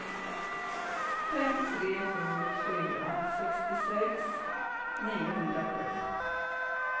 fem tre sju fyra sextiosex niohundrasju